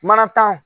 Mana tan o